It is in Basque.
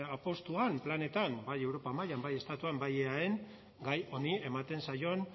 apustuan planetan bai europa mailan bai estatuan bai eaen gai honi ematen zaion